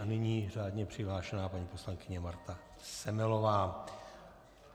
A nyní řádně přihlášená paní poslankyně Marta Semelová.